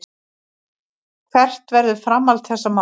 Hvert verður framhald þessa máls.